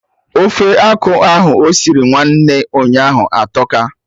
Ofe akụ ahụ osiri nwanne ụnyaahụ atọka